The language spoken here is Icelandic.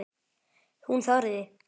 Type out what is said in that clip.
Hún þorði.